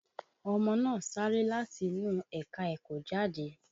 Ọmọ náà sáré láti inú ẹ̀ka-ẹ̀kọ́ jáde